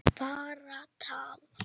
Bara tal.